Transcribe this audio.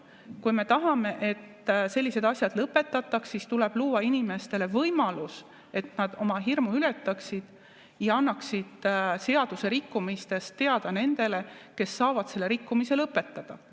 Kui me tahame, et sellised asjad lõpetataks, siis tuleb luua inimestele võimalus, et nad oma hirmu ületaksid ja annaksid seadusrikkumistest teada nendele, kes saavad selle rikkumise lõpetada.